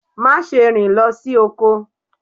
Má ṣe rìn lọ sí oko.